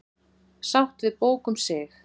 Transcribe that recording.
Sátt við bók um sig